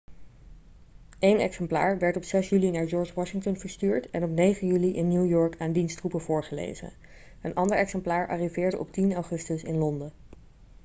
eén exemplaar werd op 6 juli naar george washington verstuurd en op 9 juli in new york aan diens troepen voorgelezen een ander exemplaar arriveerde op 10 augustus in londen